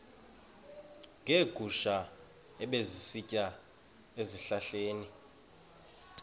neegusha ebezisitya ezihlahleni